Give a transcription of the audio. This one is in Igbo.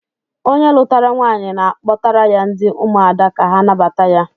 Onye lụtara nwaanyị na-akpọtara ya ndị ụmụada ka ha nabata ya